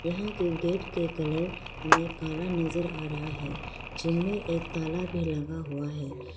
यहां के गेट के कलर हमें काला नजर आ रहा है जिनमें एक ताला भी लगा हुआ है।